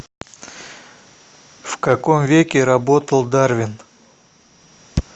в каком веке работал дарвин